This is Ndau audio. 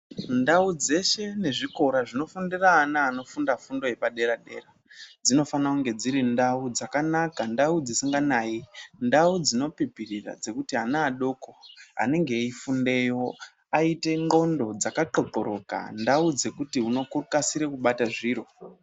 Ndau dzeshe nezvikora zvinofundire ana nezvikora zvepadera dera dzinofanirwa kunge dziri ndau dzakanaka, ndau dzisinganayi. Ndau dzinopipirira dzekuti ana eifundeyo aite ndxondo dzaxoxoroka. Ndau dzekuti unokasire kubata zviro.